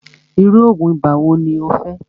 irú oògùn ibà wo ní o fẹ́?